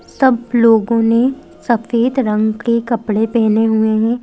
सब लोगो ने सफ़ेद रंग के कपड़े पहने हुए हैं।